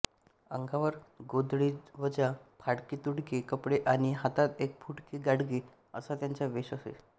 अंगावर गोधडीवजा फाटकेतुटके कपडे आणि हातात एक फुटके गाडगे असा त्यांचा वेष असे